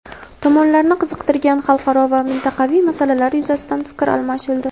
Tomonlarni qiziqtirgan xalqaro va mintaqaviy masalalar yuzasidan fikr almashildi.